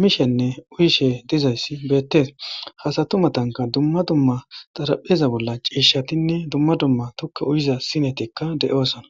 miishenne uyishe dizayssi beettees hasatumatanka dumma dumma xarapheza bolla ciishatinne dumma dumma tukka uyiza sinetikka de'oosona.